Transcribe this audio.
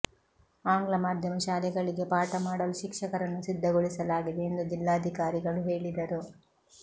ಆಂಗ್ಲ ಮಾಧ್ಯಮ ಶಾಲೆಗಳಿಗೆ ಪಾಠ ಮಾಡಲು ಶಿಕ್ಷಕರನ್ನು ಸಿದ್ಧಗೊಳಿಸಲಾಗಿದೆ ಎಂದು ಜಿಲ್ಲಾಧಿಕಾರಿಗಳು ಹೇಳಿದರು